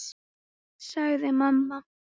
sagði mamma.